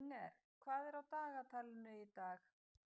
Inger, hvað er á dagatalinu í dag?